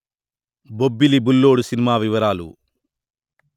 Bobbili Bullodu cinema వివరాలు